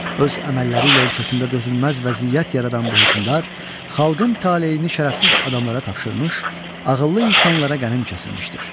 Öz əməlləri ilə ölkəsində dözülməz vəziyyət yaradan bu hökmdar xalqın taleyini şərəfsiz adamlara tapşırmış, ağıllı insanlara qənim kəsilmişdir.